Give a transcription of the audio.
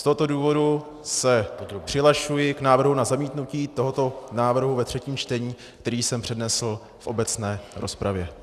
Z tohoto důvodu se přihlašuji k návrhu na zamítnutí tohoto návrhu ve třetím čtení, který jsem přednesl v obecné rozpravě.